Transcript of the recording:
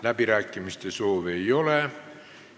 Läbirääkimiste soovi ei ole.